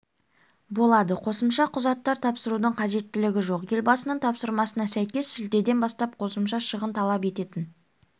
болады қосымша құжаттар тапсырудың қажеттілігі жоқ елбасының тапсырмасына сәйкес шілдеден бастап қосымша шығын талап ететін